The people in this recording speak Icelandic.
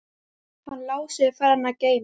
Hann Lási er farinn að geyma.